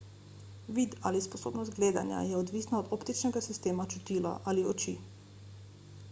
vid ali sposobnost gledanja je odvisna od optičnega sistema čutila ali oči